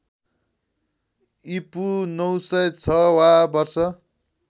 ईपू ९०६ वा वर्ष